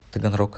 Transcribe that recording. таганрог